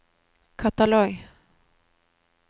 katalog